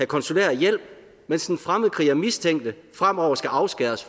konsulær hjælp mens den fremmedkrigermistænkte fremover skal afskæres